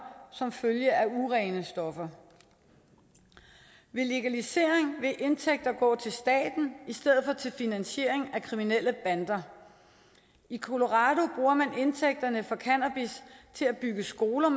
som følge af urene stoffer ved en legalisering vil indtægter gå til staten i stedet for til finansiering af kriminelle bander i colorado bruger man indtægterne fra cannabis til at bygge skoler